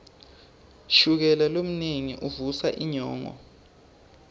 shukela lomnengi uvusa inyongo